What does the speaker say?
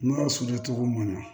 N'a sudan cogo man ɲi